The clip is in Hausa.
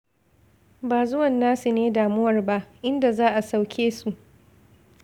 Ba zuwan nasu ne damuwar ba, inda za a sauke su.